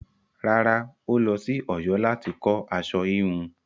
Rárá, ó lọ sí Ọ̀yọ́ láti kọ́ aṣọ híhun.